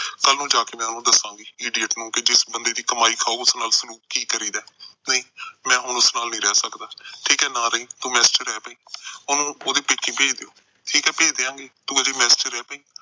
ਕੱਲ੍ਹ ਨੂੰ ਜਾ ਕੇ ਮੈਂ ਉਹਨੂੰ ਦੱਸਾਂਗੀ idiot ਨੂੰ, ਕਿ ਜਿਸ ਬੰਦੇ ਦੀ ਕਮਾਈ ਖਾਓ, ਉਸ ਨਾਲ ਸਲੂਕ ਕੀ ਕਰੀਦਾ। ਨਹੀਂ ਮੈਂ ਉਸ ਨਾਲ ਨਹੀਂ ਰਹਿ ਸਕਦਾ। ਠੀਕ ਆ, ਨਾ ਰਹੀਂ। ਤੂੰ mess ਚ ਰਹਿ ਪਈ। ਉਹਨੂੰ ਉਹਦੇ ਪੇਕੇ ਭੇਜ ਦਿਓ। ਠੀਕ ਆ, ਭੇਜ ਦਿਆਂਗੇ, ਤੂੰ ਮੇਰੀ mess ਚ ਰਹਿ ਪਈ।